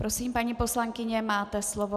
Prosím, paní poslankyně, máte slovo.